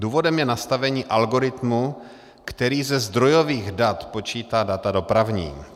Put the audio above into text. Důvodem je nastavení algoritmu, který ze zdrojových dat počítá data dopravní.